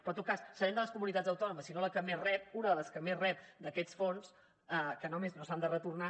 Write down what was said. però en tot cas serem de les comunitats autònomes si no la que més rep una de les que més rep d’aquests fons que a més no s’han de retornar